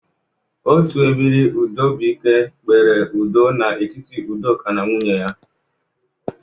Otu ebiri udobụike kpere udo n'etiti Udoka na nwunye ya.